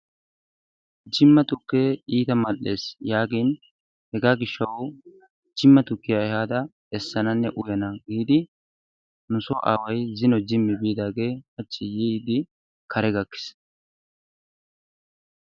Jimma tukkee iita mal'ees yaagin hegaa gishshawu jimma tukkiya ehaada essananne uyana giidi nusoo aaway zino jimmi biidaagee hachi yiidi kare gakkis.